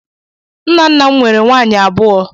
Nna nna m nweere nwaanyị abụọ.